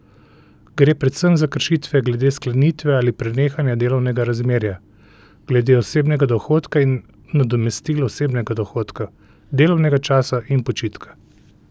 Gre predvsem za kršitve glede sklenitve ali prenehanja delovnega razmerja, glede osebnega dohodka in nadomestil osebnega dohodka, delovnega časa in počitka.